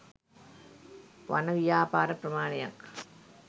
වන ව්‍යාපාර ප්‍රමාණයක්